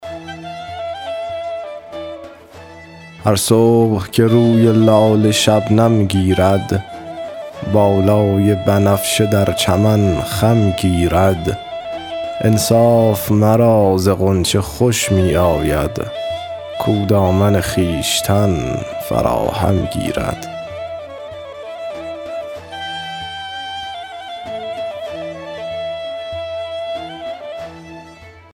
هر صبح که روی لاله شبنم گیرد بالای بنفشه در چمن خم گیرد انصاف مرا ز غنچه خوش می آید کاو دامن خویشتن فراهم گیرد